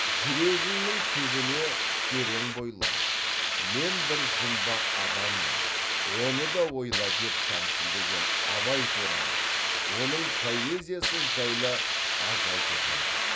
жүрегіңнің түбіне терең бойла мен бір жұмбақ адаммын оны да ойла деп тәмсілдеген абай туралы оның поэзиясы жайлы аз айтылған жоқ